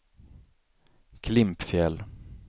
Klimpfjäll